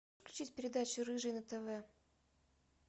включить передачу рыжий на тв